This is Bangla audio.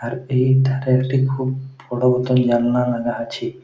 আর এই ধারেতে খুব বড় মতো জানলা লাগা আছে।